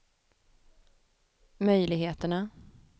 möjligheterna